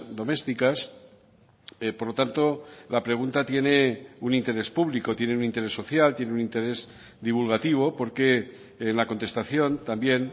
domésticas por lo tanto la pregunta tiene un interés público tiene un interés social tiene un interés divulgativo porque en la contestación también